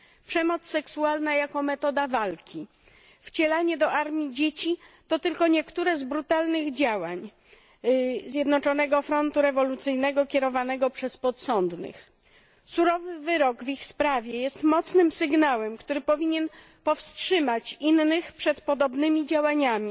przemoc seksualna jako metoda walki, wcielanie do armii dzieci to tylko niektóre z brutalnych działań Zjednoczonego Frontu Rewolucyjnego kierowanego przez podsądnych. Surowy wyrok w ich sprawie jest mocnym sygnałem, który powinien powstrzymać innych przed podobnymi działaniami